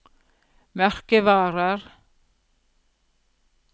merkevarer